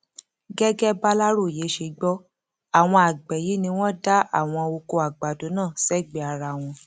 gẹgẹ bàlàròyé ṣe gbọ àwọn àgbẹ yìí ni wọn dá àwọn ọkọ àgbàdo náà sẹgbẹẹ ara wọn